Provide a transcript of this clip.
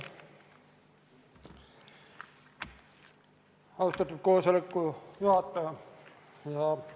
Aitäh, austatud koosoleku juhataja!